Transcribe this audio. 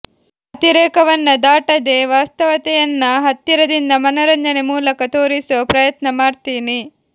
ಅತಿರೇಕವನ್ನ ದಾಟದೇ ವಾಸ್ತವತೆಯನ್ನ ಹತ್ತಿರದಿಂದ ಮನರಂಜನೆ ಮೂಲಕ ತೋರಿಸೋ ಪ್ರಯತ್ನ ಮಾಡ್ತೀನಿ